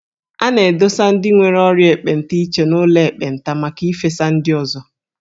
A na-adụsa ndị nwere ọrịa ekpenta iche n'ụlọ ekpenta maka ifesa ndị ọzọ.